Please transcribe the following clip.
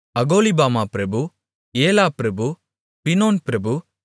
அகோலிபாமா பிரபு ஏலா பிரபு பினோன் பிரபு